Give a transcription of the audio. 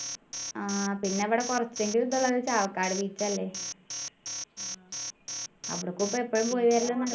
ആഹ് പിന്നെ ഇവിടെ കുറച്ചെങ്കിലും ഇതുള്ളത് ചാവക്കാട് beach അല്ലെ അവിടെക്കൊക്കും എപ്പോളും പോയി വരൽ